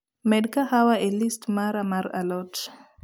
med kahawa e list mara mar a lot